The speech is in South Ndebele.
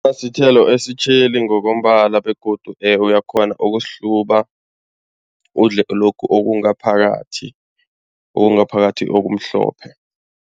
sithelo esitjheli ngokombala begodu uyakghona ukusihluba, udle lokhu okungaphakathi, okungaphakathi okumhlophe.